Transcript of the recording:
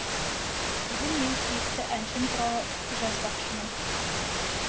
бүгін мен сүйікті әншім туралы жазбақшымын